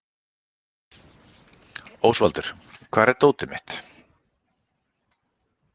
Ósvaldur, hvar er dótið mitt?